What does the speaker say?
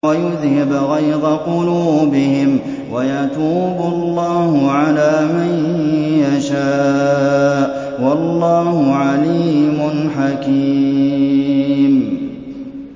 وَيُذْهِبْ غَيْظَ قُلُوبِهِمْ ۗ وَيَتُوبُ اللَّهُ عَلَىٰ مَن يَشَاءُ ۗ وَاللَّهُ عَلِيمٌ حَكِيمٌ